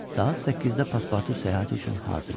Saat 8-də paspartu səyahət üçün hazır idi.